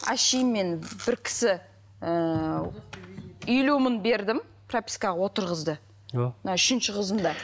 әшейін мен бір кісі ііі елу мың бердім пропискаға отырғызды мына үшінші қызымда